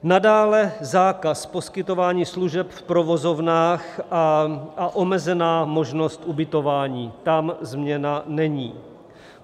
Nadále zákaz poskytování služeb v provozovnách a omezená možnost ubytování - tam změna není.